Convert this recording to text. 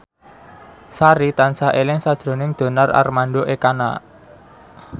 Sari tansah eling sakjroning Donar Armando Ekana